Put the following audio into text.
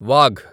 Wagh